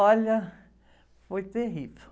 Olha, foi terrível.